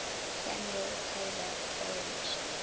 samuel taylor coleridge